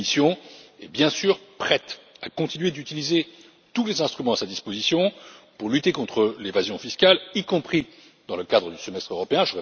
La Commission est bien sûr prête à continuer d'utiliser tous les instruments à sa disposition pour lutter contre l'évasion fiscale, y compris dans le cadre du Semestre européen.